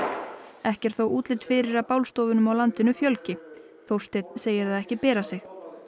ekki er þó útlit fyrir að bálstofunum á landinu fjölgi Þórsteinn segir það ekki bera sig